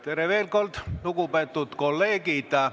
Tere veel kord, lugupeetud kolleegid!